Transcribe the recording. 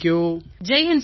பிரதமர் ஜெய் ஹிந்த்